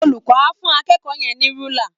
Olùkọ́ á fú akẹ́kọ̀ọ́ yẹn ní rúlà